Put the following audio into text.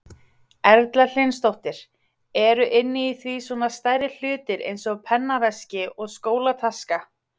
Erla Hlynsdóttir: Eru inni í því svona stærri hlutir eins og pennaveski og skólataska?